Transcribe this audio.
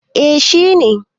eh shi ne